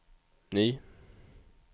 ny